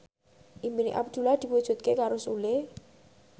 impine Abdullah diwujudke karo Sule